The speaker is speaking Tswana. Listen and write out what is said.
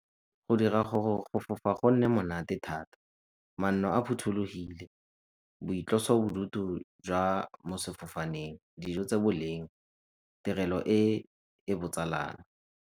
Go dira gore go fofa go nne monate thata, manno a phothulogile, boitlosobodutu jwa mo sefofaneng, dijo tse boleng, tirelo e e botsalano.